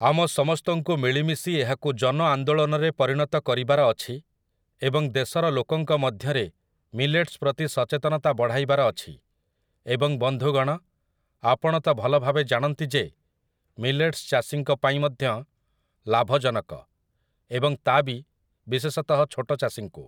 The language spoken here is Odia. ଆମ ସମସ୍ତଙ୍କୁ ମିଳିମିଶି ଏହାକୁ ଜନଆନ୍ଦୋଳନରେ ପରିଣତ କରିବାର ଅଛି ଏବଂ ଦେଶର ଲୋକଙ୍କ ମଧ୍ୟରେ ମିଲେଟ୍ସ ପ୍ରତି ସଚେତନତା ବଢ଼ାଇବାର ଅଛି ଏବଂ ବନ୍ଧୁଗଣ, ଆପଣ ତ ଭଲଭାବେ ଜାଣନ୍ତି ଯେ ମିଲେଟ୍ସ, ଚାଷୀଙ୍କ ପାଇଁ ମଧ୍ୟ ଲାଭଜନକ ଏବଂ ତା ବି ବିଶେଷତଃ ଛୋଟଚାଷୀଙ୍କୁ ।